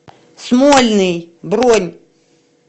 смольный бронь